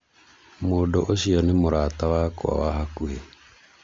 mũndũ ũcio nĩ mũrata wakwa wa hakuhĩ